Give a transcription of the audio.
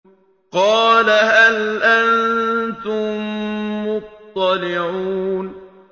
قَالَ هَلْ أَنتُم مُّطَّلِعُونَ